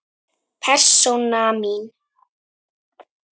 Persóna mín.